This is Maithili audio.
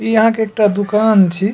इ अहां के एकटा दुकान छी।